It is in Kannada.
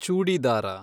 ಚೂಡಿದಾರ